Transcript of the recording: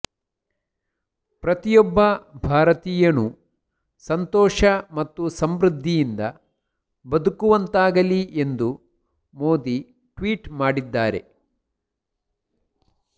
ಪ್ರತಿಯೊಬ್ಬ ಭಾರತೀಯನೂ ಸಂತೋಷ ಮತ್ತು ಸಮೃದ್ಧಿಯಿಂದ ಬದುಕುವಂತಾಗಲಿ ಎಂದು ಮೋದಿ ಟ್ವೀಟ್ ಮಾಡಿದ್ದಾರೆ